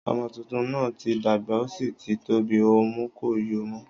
ọmọ tuntun náà tí dàgbà o sí tí tóbi, ọmú kò yóo mọ́